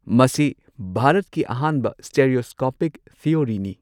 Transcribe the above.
ꯃꯁꯤ ꯚꯥꯔꯠꯀꯤ ꯑꯍꯥꯟꯕ ꯁ꯭ꯇꯦꯔꯤꯑꯣꯁꯀꯣꯄꯤꯛ ꯊꯤꯑꯣꯔꯤꯅꯤ꯫